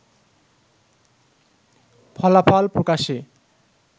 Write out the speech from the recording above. ফলাফল প্রকাশে